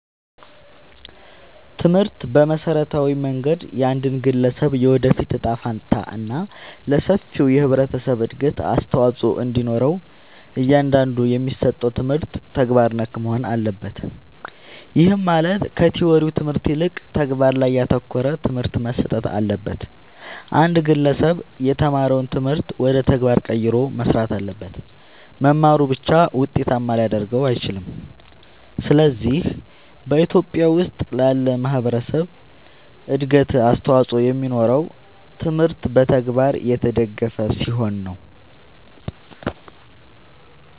ትምህርት በመሠረታዊ መንገድ የአንድን ግለሠብ የወደፊት እጣ ፈንታ እና ለሠፊው የህብረተሠብ እድገት አስተዋፅኦ እንዲኖረው እያንዳንዱ የሚሠጠው ትምህርት ተግባር ነክ መሆን አለበት። ይህም ማለት ከቲወሪው ትምህርት ይልቅ ተግባር ላይ ያተኮረ ትምህርት መሠጠት አለበት። አንድ ግለሠብ የተማረውን ትምህርት ወደ ተግባር ቀይሮ መሥራት አለበት። መማሩ ብቻ ውጤታማ ሊያደርገው አይችልም። ስለዚህ በኢትዮጲያ ውስጥ ላለ ማህበረሠብ እድገት አስተዋፅኦ የሚኖረው ትምህርቱ በተግባር የተደገፈ ሲሆን ነው።